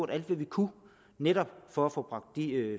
alt hvad vi kunne netop for at få bragt de